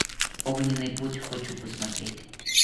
огненный путь хочу посмотреть